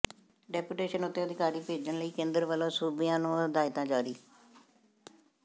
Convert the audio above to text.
deputation ਉੱਤੇ ਅਧਿਕਾਰੀ ਭੇਜਣ ਲਈ ਕੇਂਦਰ ਵੱਲੋਂ ਸੂਬਿਆਂ ਨੂੰ ਹਦਾਇਤਾਂ ਜਾਰੀ